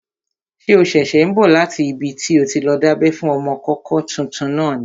Ṣé o ṣẹ̀ṣẹ̀ n bọ̀ láti ibi tí o ti lọ dábẹ́ fún ọmọkọ́kọ́ tuntun náà?